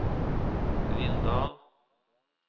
Rindal